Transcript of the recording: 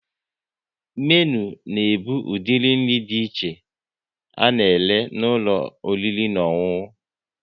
Menu na ebu udiri nri dị iche a na-ere n'ụlọ oriri na ọṅụṅụ